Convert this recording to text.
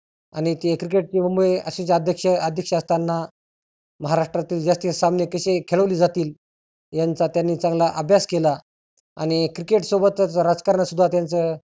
आणि ते cricket मुंबई असेच अध्यक्ष असताना महाराष्ट्रातील जास्तीत जास्त सामने कसे खेळवले जाती यांचा त्यांनी चांगला अभ्यास केला आणि cricket सोबतच राजकारणात सिद्धा त्यांच